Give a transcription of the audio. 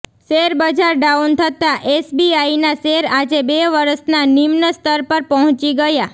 share બજાર down થતા એસબીઆઈના શેર આજે બે વર્ષના નિમ્નસ્તર પર પહોંચી ગયા